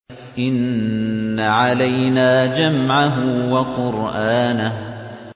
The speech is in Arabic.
إِنَّ عَلَيْنَا جَمْعَهُ وَقُرْآنَهُ